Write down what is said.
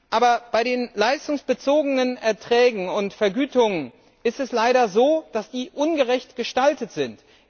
Aber bei den leistungsbezogenen Erträgen und Vergütungen ist es leider so, dass sie ungerecht gestaltet sind.